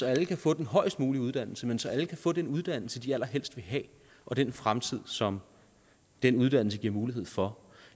alle kan få den højst mulige uddannelse men så alle kan få den uddannelse de allerhelst vil have og den fremtid som den uddannelse giver mulighed for